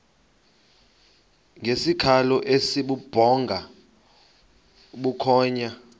ngesikhalo esibubhonga bukhonya